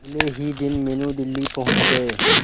अगले ही दिन मीनू दिल्ली पहुंच गए